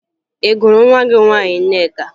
Ị gụrụ nwa gị nwaanyị Nneka?